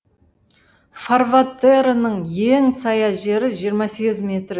фарватерінің ең саяз жері жиырма сегіз метр